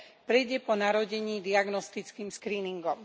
prejde po narodení diagnostickým skríningom.